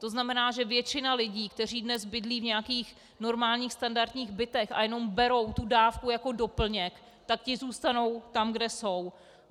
To znamená, že většina lidí, kteří dnes bydlí v nějakých normálních standardních bytech a jenom berou tu dávku jako doplněk, tak ti zůstanou tam, kde jsou.